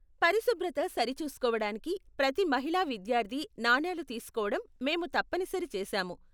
పరిశుభ్రత సరిచూసుకోవడానికి ప్రతి మహిళా విద్యార్థి నాణేలు తీసుకోవటం మేము తప్పనిసరి చేసాము.